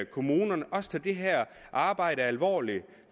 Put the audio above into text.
kommunerne også tager det her arbejde alvorligt